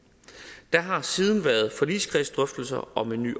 der har siden været forligskredsdrøftelser om en ny